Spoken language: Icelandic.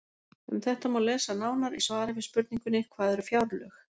Um þetta má lesa nánar í svari við spurningunni Hvað eru fjárlög?